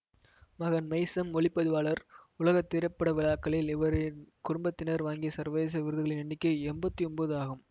மகன் மெய்சம் ஒளி பதிவாளர் உலக திரைப்பட விழாக்களில் இவரின் குடும்பத்தினர் வாங்கிய சர்வதேச விருதுகளின் எண்ணிக்கை எம்பத்தி ஒம்போது ஆகும்